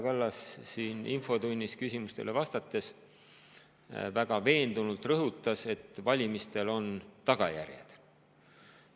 Ka siin infotunnis küsimustele vastates rõhutas Kaja Kallas täna väga veendunult, et valimistel on tagajärjed.